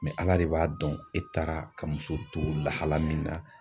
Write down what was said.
ala de b'a dɔn, e taara ka muso to lahala min na.